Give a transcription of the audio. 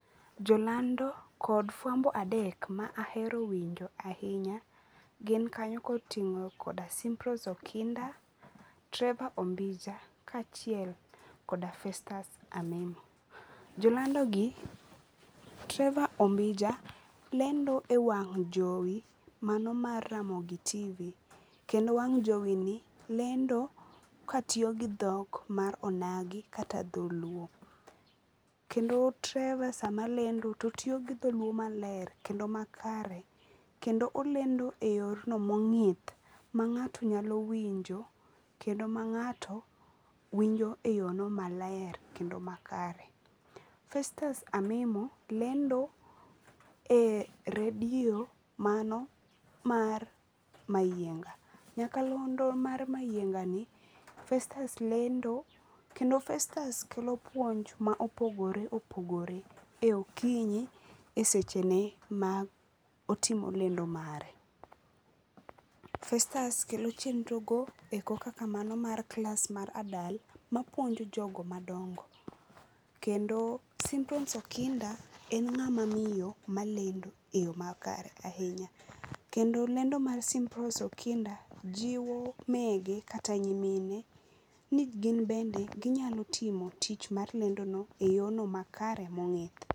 Jolando kod fwambo adek ma ahero winjo ahinya gin kanyo koting'o koda Symprose Okinda, Trevor Ombija kaachiel koda Festus Amimo. Jolandogi, Trevor Ombija lendo e wang' jowi mano mar Ramogi TV,kendo wang' jowini lendo katiyo gi dhok mar onagi kata dholuo. Kendo Trevor sa malendo to tiyo gi dholuo maler kendo makare, kendo olendo e yor no mong'ith ma ng'ato nyalo winjo, kendo ma ng'ato winjo e yono maler kendo makare. Festus Amimo lendo e redio mano mar Mayienga. Nyakalondo mar mayiengani, Festus lendo kendo Festus kelo puonj ma opogore opogore e okinyi e sechene ma otimo lendo mare. Festus kelo chenrogo e koka kamano mar klas mar adult ma puonjo jogo madongo. Kendo Symprose Okinda en ng'ama miyo malendo e yo makare ahinya. Kendo lendo mar Symprose Okinda jiwo mege kata nyimine ni gin bende ginyalo timo tich mar lendono e yorno makare mong'ith.